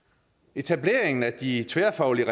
etableringen af de tværfaglige